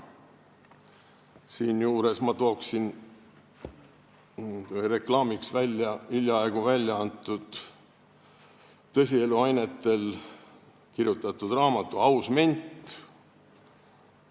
Siinjuures ma toon reklaamiks välja hiljaaegu väljaantud tõsielu ainetel kirjutatud raamatu "Hea ment".